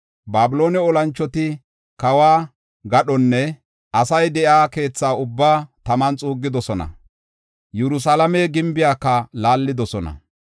Babiloone olanchoti kawo gadhonne asay de7iya keetha ubbaa taman xuuggidosona; Yerusalaame gimbiyaka laallidosona.